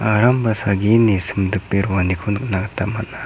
aram ba salgini simdipe roaniko nikna gita man·a.